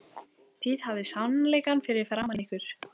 Þið hafið sannleikann fyrir framan ykkur.